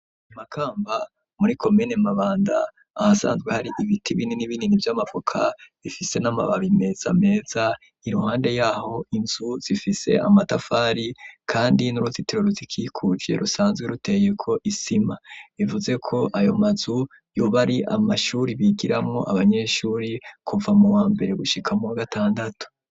Makamba muri komene mabanda ahasanzwe hari ibiti bini n'ibinini by'amapoka ifise n'amababi meza meza iruhande yaho inzu zifise amatafari kandi n'uruzitiro rutikikuvye rusanzwe ruteye ko isima ivuze ko ayo matzu yoba ari amashuri bigiramo abanyeshuri kuva mu wa mbere gushika mu bgatandatu.